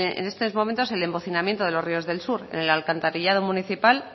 en estos momentos el embocinamiento de los ríos del sur en el alcantarillado municipal